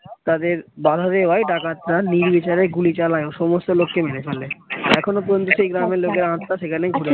তাদের বাঁধা দেওয়ায় ডাকাতরা নির্বিচারে গুলি চালায় ও সমস্ত লোককে মেরে ফেলে। এখনো পর্যন্ত সেই লোকের আত্মা সেখানে